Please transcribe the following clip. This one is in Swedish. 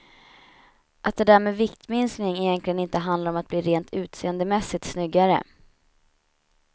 Att det där med viktminskning egentligen inte handlar om att bli rent utseendemässigt snyggare.